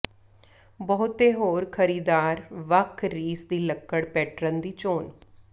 ਬਹੁਤੇ ਹੋਰ ਖਰੀਦਦਾਰ ਵੱਖ ਰੀਸ ਦੀ ਲੱਕੜ ਪੈਟਰਨ ਦੀ ਚੋਣ